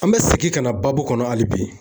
An bɛ segin ka na baabu kɔnɔ hali bi.